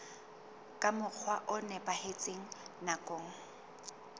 ka mokgwa o nepahetseng nakong